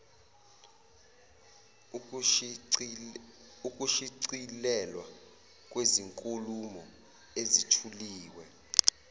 ukushicilelwa kwezinkulumo ezithuliwe